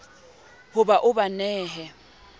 ho ba o ba nehe